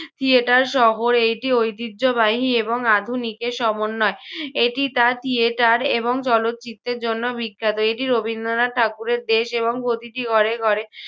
theatre সহ এইটি ঐতিহ্যবাহী এবং আধুনিকের সমন্বয়। এটি তার theatre এবং চলচ্চিত্রের জন্য বিখ্যাত। এটি রবীন্দ্রনাথ ঠাকুরের দেশ, এবং প্রতিটি ঘরে ঘরে